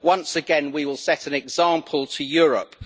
Once again, we will set an example to Europe.